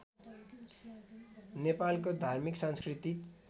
नेपालको धार्मिक सांस्कृतिक